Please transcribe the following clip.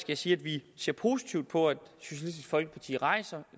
jeg sige at vi ser positivt på at socialistisk folkeparti rejser